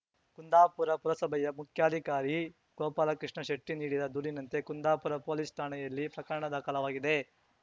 ಕುಂದಾಪುರ ಪುರಸಭೆಯ ಮುಖ್ಯಾಧಿಕಾರಿ ಗೋಪಾಲಕೃಷ್ಣ ಶೆಟ್ಟಿ ನೀಡಿದ ದೂರಿನಂತೆ ಕುಂದಾಪುರ ಪೊಲೀಸ್ ಠಾಣೆಯಲ್ಲಿ ಪ್ರಕರಣ ದಾಖಲಾಗಿದೆ